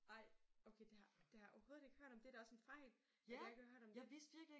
Ej okay det har det har jeg overhovedet ikke hørt om det da også en fejl at jeg ikke har hørt om det